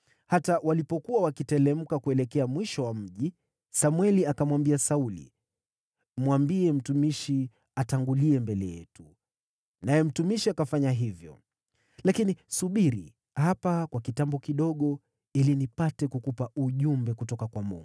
Hata walipokuwa wakiteremka kuelekea mwisho wa mji, Samweli akamwambia Sauli, “Mwambie mtumishi atangulie mbele yetu.” Naye mtumishi akafanya hivyo. “Lakini subiri hapa kwa kitambo kidogo, ili nipate kukupa ujumbe kutoka kwa Mungu.”